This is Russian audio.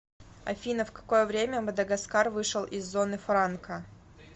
афина в какое время мадагаскар вышел из зоны франка